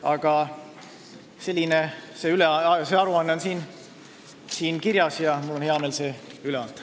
Aga see kõik on siin aruandes kirjas ja mul on hea meel see üle anda.